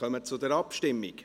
Wir kommen zur Abstimmung.